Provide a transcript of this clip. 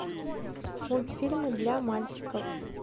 мультфильмы для мальчиков